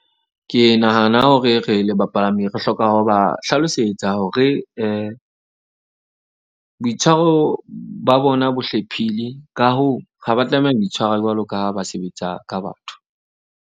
Ke nahana hore re le bapalami re hloka ho ba hlalosetsa hore boitshwaro ba bona bo hlephile, ka hoo, ha ba tlameha ho itshwara jwalo ka ba sebetsa ka batho.